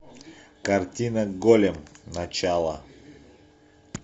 картина голем начало